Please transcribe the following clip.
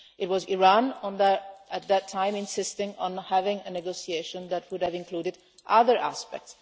It was Iran at that time insisting on having a negotiation that would have included other aspects.